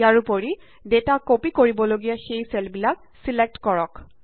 ইয়াৰোপৰি data copy কৰিবলগীয়া সেই চেলবিলাক ছিলেক্ট কৰক